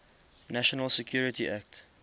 national security act